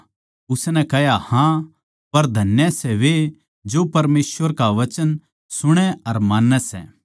उसनै कह्या हाँ पर धन्य वे सै जो परमेसवर का वचन सुणै अर मान्नै सै